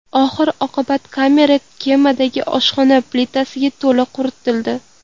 Oxir-oqibat, kamera kemadagi oshxona plitasida to‘la quritildi.